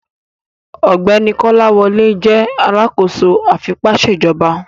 Ọgbẹni Kolawole jẹ alakoso afipaṣejọba